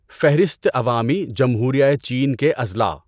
فہرست عوامی جمہوریهٔ چین کے اضلاع